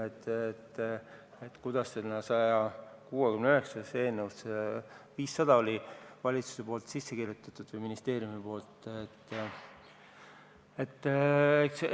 Eelnõusse 169 oli see 500 miljonit valitsuse või ministeeriumi poolt ette kirjutatud.